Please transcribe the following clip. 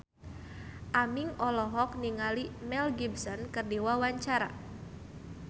Aming olohok ningali Mel Gibson keur diwawancara